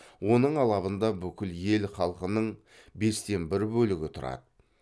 оның алабында бүкіл ел халқының бес тен бір бөлігі тұрады